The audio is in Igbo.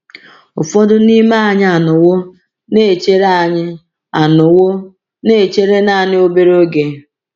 Ụfọdụ n’ime anyị anọwo na-echere anyị anọwo na-echere naanị obere oge.